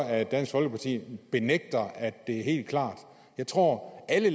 at dansk folkeparti benægter at det står helt klart jeg tror at alle